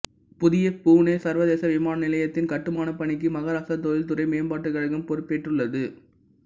புதிய புனே சர்வதேச விமானநிலையத்தின் கட்டுமானப் பணிக்கு மகாராஷ்டிரா தொழில்துறை மேம்பாட்டுக் கழகம் பொறுப்பேற்றுள்ளது